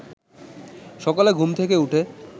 সকালে ঘুম থেকে উঠে